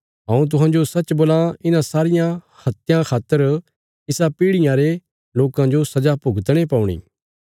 हऊँ तुहांजो सच्च बोलां इन्हां सारियां हत्यां खातर इसा पीढ़ियां रे लोकां जो सजा भुगतणे पौणी